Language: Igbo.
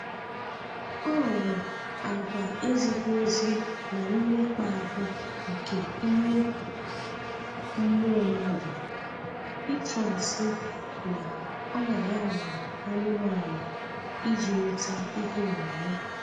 Ọ bụ agwa ezighị ezi na mmekpa ahụ nke ime mmụọ mmadụ ịtụ asị na ọ ya nwe anụmanụ iji nweta ihe onyinye